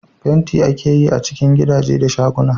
Fenti ake yi a cikin gidaje da shaguna